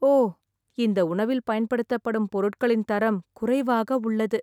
ஓ, இந்த உணவில் பயன்படுத்தப்படும் பொருட்களின் தரம் குறைவாக உள்ளது.